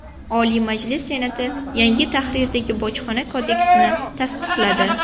Oliy Majlis Senati yangi tahrirdagi Bojxona kodeksini tasdiqladi.